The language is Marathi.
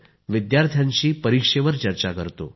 believe in yourself and work towards it